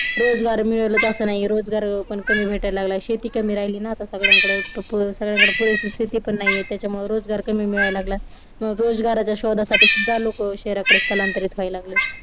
मला रोजगार रोजगार मिळतोच असं नाही कार पण कोणी भेटायला लागलाय शेती कमी राहिले ना आता सगळ्यांकडून सगळ्यांकडे परिस्थिती शेती पण नाहीये त्याच्यामुळे रोजगार कमी मिळायला लागला मग रोजगाराच्या शोधासाठी शोधा लोकं शहराकडे स्थलांतरित व्हायला लागलेत